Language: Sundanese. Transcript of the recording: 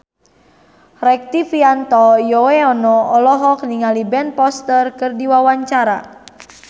Rektivianto Yoewono olohok ningali Ben Foster keur diwawancara